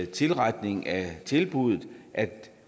tilretning af tilbuddet at